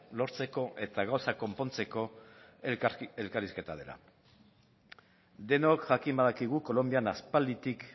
lortzeko eta gauzak konpontzeko elkarrizketa dela denok jakin badakigu kolonbian aspalditik